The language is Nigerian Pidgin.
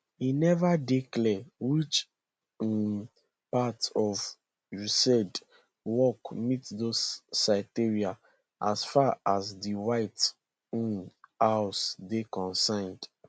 e neva dey clear which um parts of usaid work meet those criteria as far as di white um house dey concerned